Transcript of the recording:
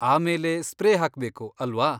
ಆಮೇಲೆ ಸ್ಪ್ರೇ ಹಾಕ್ಬೇಕು, ಅಲ್ವಾ?